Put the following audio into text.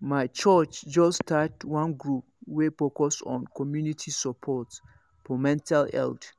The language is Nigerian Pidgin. my church just start one group wey focus on community support for mental health